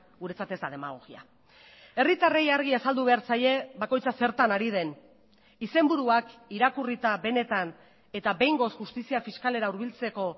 guretzat ez da demagogia herritarrei argi azaldu behar zaie bakoitza zertan ari den izenburuak irakurrita benetan eta behingoz justizia fiskalera hurbiltzeko